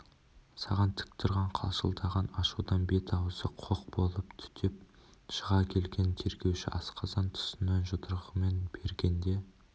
саған тік тұрған қалшылдаған ашудан бет-аузы қоқ болып түтеп шыға келген тергеуші асқазан тұсынан жұдырығымен пергенде